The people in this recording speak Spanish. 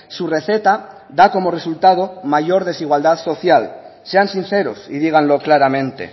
su receta da como resultado mayor desigualdad social sean sinceros y díganlo claramente